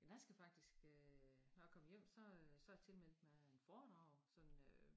Jeg skal faktisk øh når jeg kommer hjem så øh så jeg tilmeldt mig et foredrag sådan øh